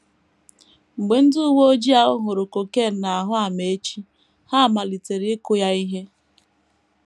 Mgbe ndị uwe ojii ahụ hụrụ cocaine n’ahụ Amaechi, ha malitere ịkụ ya ihe.